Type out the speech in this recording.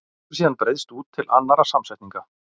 Hann hefur síðan breiðst út til annarra samsetninga.